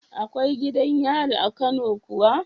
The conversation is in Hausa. Akwai gidan yari a kano kuwa